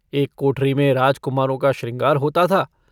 एक कोठरी में राजकुमारों का शृंगार होता था।